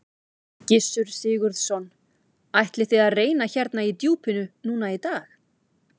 Gissur Sigurðsson: Ætlið þið að reyna hérna í djúpinu núna í dag?